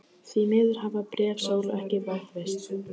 Því miður hafa bréf Sólu ekki varðveist.